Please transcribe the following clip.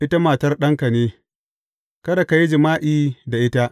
Ita matar ɗanka ne; kada ka yi jima’i da ita.